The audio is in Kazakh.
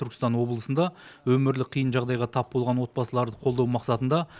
түркістан облысында өмірлік қиын жағдайға тап болған отбасыларды қолдау мақсатында